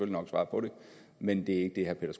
nok svare på det men det